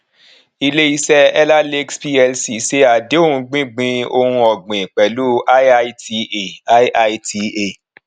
ilé iṣé ellah lakes plc ṣe àdéhun gbígbin ohun ògbìn pèlú iita iita